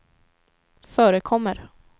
förekommer